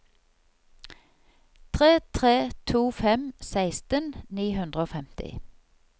tre tre to fem seksten ni hundre og femti